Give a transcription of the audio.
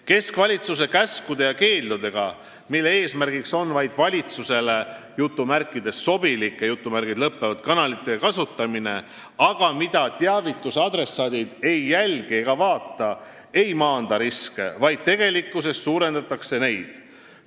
Keskvalitsuse käskude ja keeldudega, mille eesmärk on vaid valitsusele "sobilike" kanalite kasutamine, aga mida teavituse adressaadid ei jälgi ega vaata, ei maandata riske, vaid tegelikkuses suurendatakse neid.